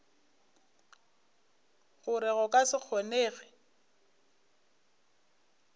gore go ka se kgonege